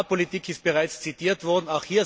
Die Agrarpolitik ist bereits zitiert worden.